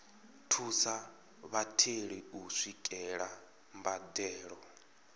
thusa vhatheli u swikelela mbadelo